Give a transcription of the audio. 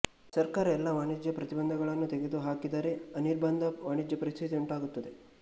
ಸರ್ಕಾರ ಎಲ್ಲಾ ವಾಣಿಜ್ಯ ಪ್ರತಿಬಂಧಕಗಳನ್ನು ತೆಗೆದುಹಾಕಿದರೆಅನಿರ್ಬಂಧ ವಾಣಿಜ್ಯ ಪರಿಸ್ಥಿತಿ ಉಂಟಾಗುತ್ತದೆ